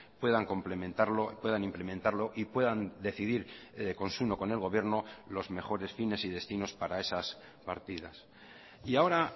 puedan complementarlo puedan implementarlo y puedan decidir consuno con el gobierno los mejores fines y destinos para esas partidas y ahora